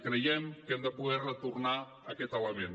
creiem que hem de poder retornar a aquest element